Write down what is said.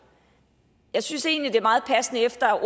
jeg synes egentlig det er meget passende efter at